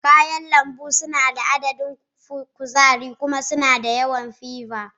Ƙwayen lambu suna da ƙananan adadin kuzari kuma suna da yawan fiber.